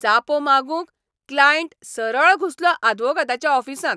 जापो मागूंक क्लायंट सरळ घुसलो आदवोगादाच्या ऑफिसांत!